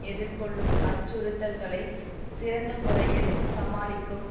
எதிர்கொள்ளும் அச்சுறுத்தல்களை சிறந்த முறையில் சமாளிக்கும்